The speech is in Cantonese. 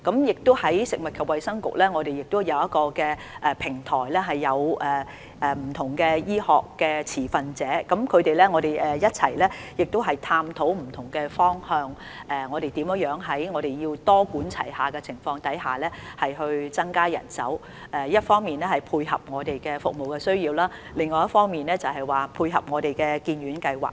此外，食物及衞生局亦已設立平台，讓不同的醫學持份者一同探討不同方向，以多管齊下的方式增加人手，一方面配合服務需求，另一方面配合當局的發展計劃。